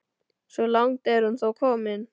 Svo langt er hún þó komin.